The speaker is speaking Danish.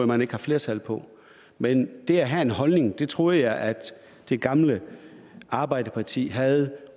man ikke har flertal men det at have en holdning troede jeg at det gamle arbejderparti havde